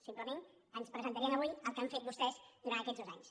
simplement ens presentarien avui el que han fet vostès durant aquests dos anys